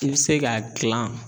I bi se k'a gilan